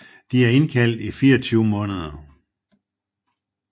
De er indkaldt i 24 måneder